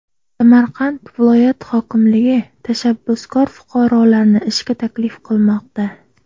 Samarqand viloyat hokimligi tashabbuskor fuqarolarni ishga taklif qilmoqda.